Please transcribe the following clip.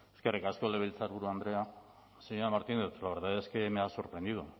eskerrik asko legebiltzarburu andrea señora martínez la verdad es que me ha sorprendido